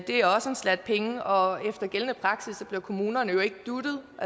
er også en slat penge og efter gældende praksis bliver kommunerne jo ikke dutet